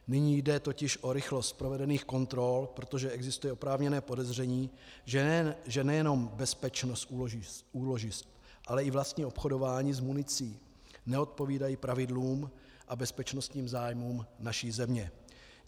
Nyní jde totiž o rychlost provedených kontrol, protože existuje oprávněné podezření, že nejenom bezpečnost úložišť, ale i vlastní obchodování s municí neodpovídají pravidlům a bezpečnostním zájmům naší země.